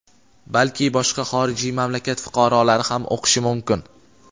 balki boshqa xorijiy mamlakat fuqarolari ham o‘qishi mumkin.